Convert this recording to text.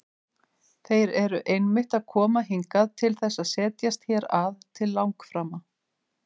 Þeir eru einmitt að koma hingað til þess að setjast hér að til langframa!